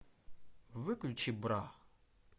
выключи бра